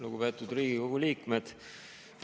Lugupeetud Riigikogu liikmed!